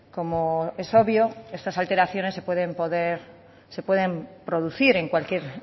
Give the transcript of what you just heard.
como es obvio estas alteraciones se pueden producir en cualquier